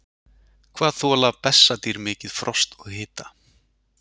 hvað þola bessadýr mikið frost og hita